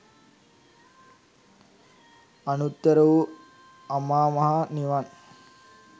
අනුත්තර වූ අමා මහ නිවන්